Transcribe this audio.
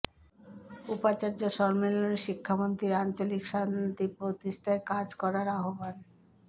উপাচার্য সম্মেলনে শিক্ষামন্ত্রী আঞ্চলিক শান্তি প্রতিষ্ঠায় কাজ করার আহ্বান